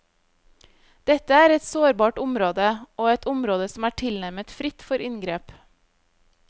Dette er et sårbart område, og et område som er tilnærmet fritt for inngrep.